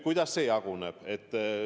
Kuidas see jaguneb?